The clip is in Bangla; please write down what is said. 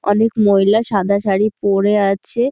অনেক মহিলা সাদা শাড়ী পরে আছে।